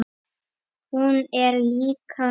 Hún er líka níu.